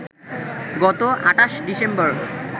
গত ২৮ ডিসেম্বর